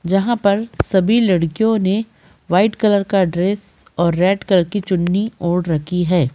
जहाँ पर सभी लड़कियों ने व्हाइट कलर का ड्रेस और रेड कलर की चुनरी ओढ़ रखी है।